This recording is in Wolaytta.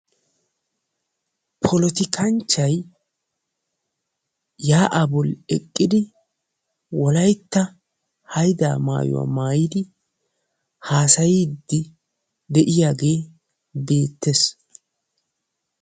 polotikkanchchay yaa'aappe eqqidi wolaytta haydaa maayuwa maayidi haasasayiidi de'iyaagee beetees.